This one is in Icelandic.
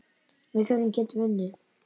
Með hverjum getum við unnið?